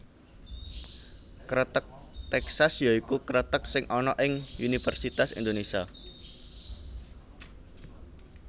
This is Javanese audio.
Kreteg Tèksas ya iku kreteg sing ana ing Universitas Indonesia